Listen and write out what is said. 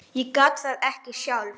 Ég gat það ekki sjálf.